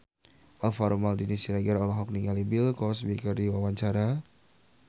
Alvaro Maldini Siregar olohok ningali Bill Cosby keur diwawancara